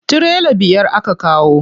Tirela biyar aka kawo.